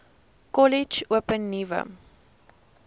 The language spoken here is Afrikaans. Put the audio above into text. kollege open nuwe